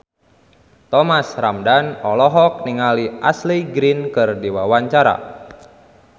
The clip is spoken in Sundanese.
Thomas Ramdhan olohok ningali Ashley Greene keur diwawancara